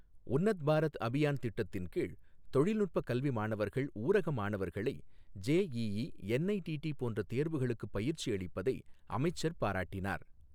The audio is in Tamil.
உன்னத் பாரத் அபியான் திட்டத்தின் கீழ் தொழில்நுட்ப கல்வி மாணவர்கள், ஊரக மாணவர்களை ஜெஈஈ, என்ஐடிடி போன்ற தேர்வுகளுக்குப் பயிற்சி அளிப்பதை அமைச்சர் பாராட்டினார்